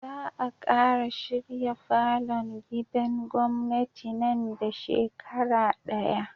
Za a kara shirya falon gidan gwamnati nan da shekara daya